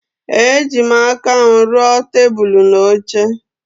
Ejim aka m ruo tebụl na oche.